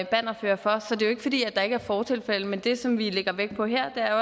bannerfører for så det er jo ikke fordi der ikke er fortilfælde men det som vi lægger vægt på her er